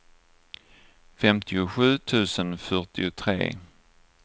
femtiosju tusen fyrtiotre